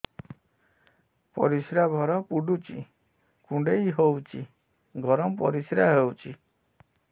ପରିସ୍ରା ଘର ପୁଡୁଚି କୁଣ୍ଡେଇ ହଉଚି ଗରମ ପରିସ୍ରା ହଉଚି